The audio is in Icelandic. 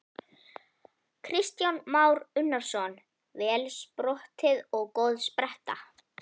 Kristján Már Unnarsson: Vel sprottið og góð spretta?